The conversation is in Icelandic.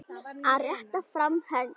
Að rétta fram hönd